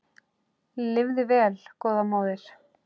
Lifðu vel góða móðir.